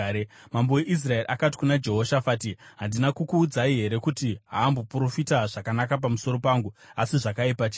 Mambo weIsraeri akati kuna Jehoshafati, “Handina kukuudzai here kuti haamboprofita zvakanaka pamusoro pangu asi zvakaipa chete?”